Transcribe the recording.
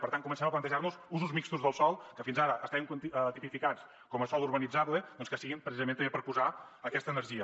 per tant comencem a plantejar nos usos mixtos del sòl que fins ara estaven tipificats com a sòl urbanitzable doncs que siguin precisament també per posar aquesta energia